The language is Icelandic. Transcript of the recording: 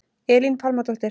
Elín Pálmadóttir